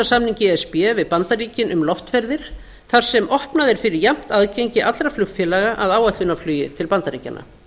e s b við bandaríkin um loftferðir þar sem opnað er fyrir jafnt aðgengi allra flugfélaga að áætlunarflugi til bandaríkjanna